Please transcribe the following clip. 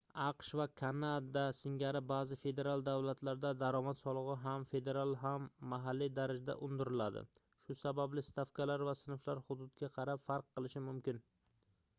aqsh va kanada singari baʼzi federal davlatlarda daromad soligʻi ham federal ham mahalliy darajada undiriladi shu sababli stavkalar va sinflar hududga qarab farq qilishi mumkin